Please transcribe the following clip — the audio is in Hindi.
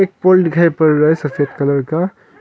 पोल दिखाई पर रहा है सफेद कलर का।